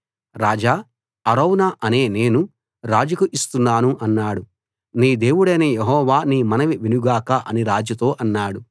రాజా యివన్నీ అరౌనా అనే నేను రాజుకు ఇస్తున్నాను అన్నాడు నీ దేవుడైన యెహోవా నీ మనవి వినుగాక అని రాజుతో అన్నాడు